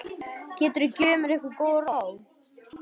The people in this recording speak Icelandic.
Geturðu gefið mér einhver góð ráð?